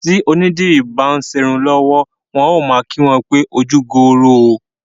Tí onídìrí bá ń ṣerun lọ́wọ́ wọn a máa kí wọn pé ojúgbooro o